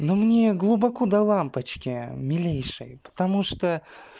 ну мне глубоко до лампочки милейшей потому что